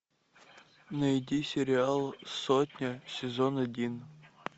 найди сериал сотня сезон один